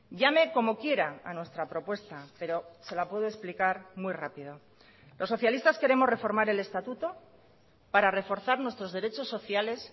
llame como quiera a nuestra propuesta pero se la puedo explicar muy rápida los socialistas queremos reformar el estatuto para reforzar nuestros derechos sociales